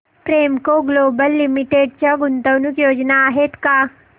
Premco global limited च्या गुंतवणूक योजना आहेत का